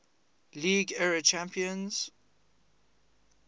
league era champions